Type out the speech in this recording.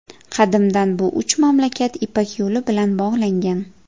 Qadimdan bu uch mamlakat Ipak yo‘li bilan bog‘langan.